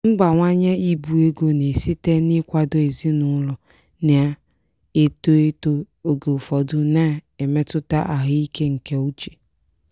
mbawanye ibu ego na-esite n'ịkwado ezinụlọ na-eto eto oge ụfọdụ na-emetụta ahụike nke uche.